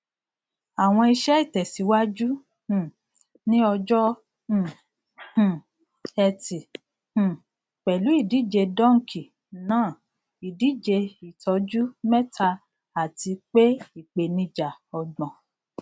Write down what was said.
àwọn iṣẹ tẹsíwájú um ní ọjọ um um ẹtì um pẹlú ìdíje dunk náà ìdíjeìtọjú mẹta àti pé ìpènijà ọgbọn